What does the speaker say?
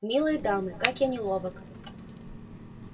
милые дамы как я неловок